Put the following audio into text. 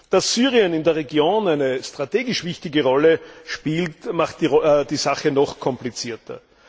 Dass Syrien in der Region eine strategisch wichtige Rolle spielt, macht die Sache noch komplizierter.